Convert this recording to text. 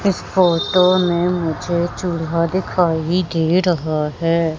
इस फोटो में मुझे चूल्हा दिखाई दे रहा है।